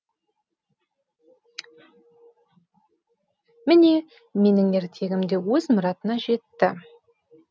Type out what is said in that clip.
міне менің ертегімде өз мұратына жетті